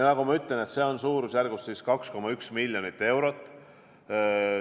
Nagu ma ütlesin, see on suurusjärgus 2,1 miljonit eurot.